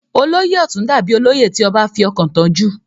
olóyè ọ̀tún dà bíi olóyè tí ọbá fi ọkàn tán jù